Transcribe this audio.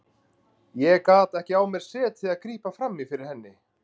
Ég gat ekki á mér setið að grípa fram í fyrir henni.